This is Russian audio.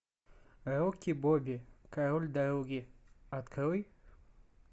рики бобби король дороги открой